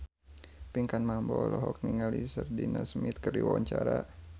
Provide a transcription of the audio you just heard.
Pinkan Mambo olohok ningali Sheridan Smith keur diwawancara